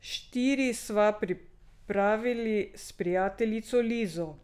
Štiri sva pripravili s prijateljico Lizo.